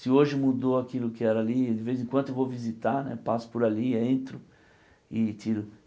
Se hoje mudou aquilo que era ali, de vez em quando eu vou visitar né, passo por ali, entro e tiro.